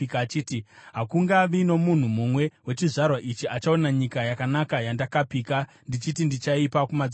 “Hakungavi nomunhu mumwe wechizvarwa ichi achaona nyika yakanaka yandakapika ndichiti ndichaipa kumadzibaba enyu,